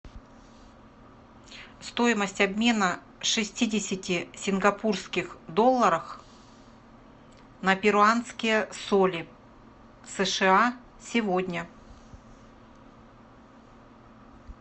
стоимость обмена шестидесяти сингапурских долларов на перуанские соли сша сегодня